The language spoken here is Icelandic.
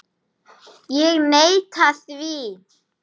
Ég neita því.